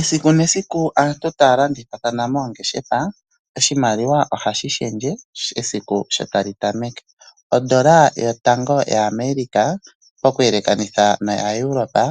Esiku nesiku aantu taya landithathana moongeshefa oshimaliwa oha shi shendje esiku sho tali tameke. Ondola yotango yaAmerica okuyelekanitha na yaEuropa